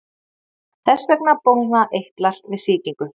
Þess vegna bólgna eitlar við sýkingu.